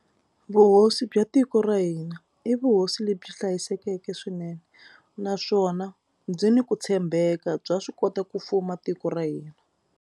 Vuhosi bya tiko ra hina i vuhosi lebyi hlayisekeke swinene naswona byi ni ku tshembeka bya swi kota ku fuma tiko ra hina.